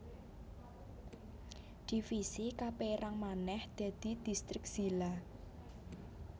Divisi kapérang manèh dadi distrik zila